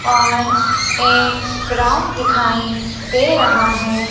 और एक ग्राउंड दिखाई दे रहा है।